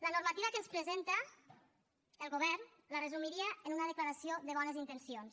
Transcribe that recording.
la normativa que ens presenta el govern la resumiria en una declaració de bones intencions